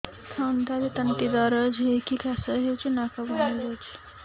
ଥଣ୍ଡାରେ ତଣ୍ଟି ଦରଜ ହେଇକି କାଶ ହଉଚି ନାକ ବନ୍ଦ ହୋଇଯାଉଛି